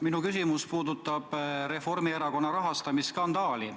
Minu küsimus puudutab Reformierakonna rahastamisskandaali.